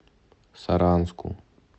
саранску